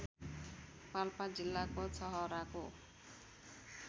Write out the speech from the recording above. पाल्पा जिल्लाको छहराको